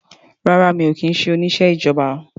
Rárá mi ò kí ń ṣe oníṣẹ́ ìjọba